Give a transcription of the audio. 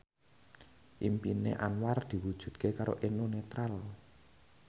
impine Anwar diwujudke karo Eno Netral